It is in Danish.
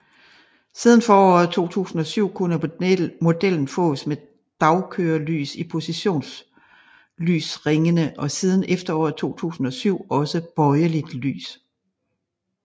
Siden foråret 2007 kunne modellen fås med dagkørelys i positionslysringene og siden efteråret 2007 også bøjeligt lys